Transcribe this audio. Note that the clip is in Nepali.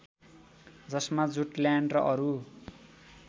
जसमा जुटल्यान्ड र अरू